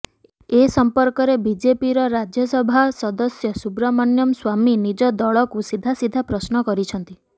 ଏ ସମ୍ପର୍କରେ ବିଜେପିର ରାଜ୍ୟସଭା ସଦସ୍ୟ ସୁବ୍ରମଣ୍ୟମ ସ୍ବାମୀ ନିଜ ଦଳକୁ ସିଧା ସିଧା ପ୍ରଶ୍ନ କରିଛନ୍ତି